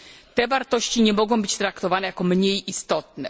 Te wartości nie mogą być traktowane jako mniej istotne.